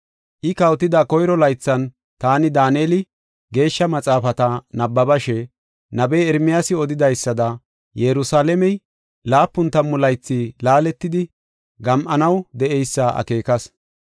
I kawotida koyro laythan, taani Daaneli, Geeshsha Maxaafata nabbabashe, nabey Ermiyaasi odidaysada, Yerusalaamey laapun tammu laythi laaletidi gam7anaw de7eysa akeekas.